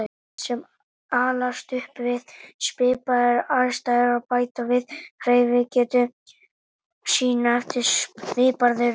Börn sem alast upp við svipaðar aðstæður bæta við hreyfigetu sína eftir svipaðri röð.